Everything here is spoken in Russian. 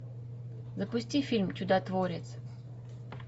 запусти фильм чудотворец